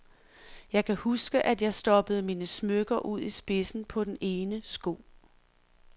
Jeg kan huske, at jeg stoppede mine smykker ud i spidsen på den ene sko.